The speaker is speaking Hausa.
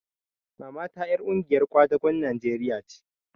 Mamata ƴar ƙungiyar kwadagon Najeriya ce